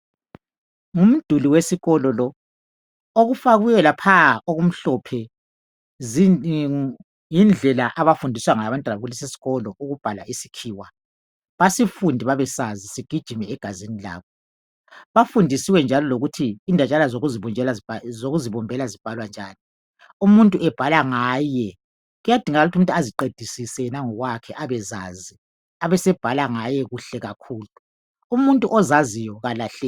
Ngumduli wesikolo lo. Okufakiweyo laphaya, okumhlophe, yindlela abafundiswa ngayo abantwana kulesisikolo, ukubhala isikhiwa. Basifunde babesazi. Sigijime egazini labo. Bafundisiwe njalo lokuthi indatshana zokuzibumbela zibhalwa njani. Umuntu ebhala ngaye. Kuyadingakala ukuthi umuntu aziqedisise yena ngokwakhe abezazi, abesebhala ngaye kuhle kakhulu. Umuntu ozaziyo kalahleki.